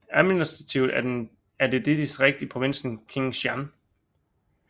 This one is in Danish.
Administrativt er den et distrikt i provinsen Kiên Giang